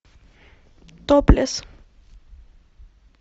топлес